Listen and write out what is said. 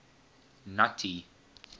nuttie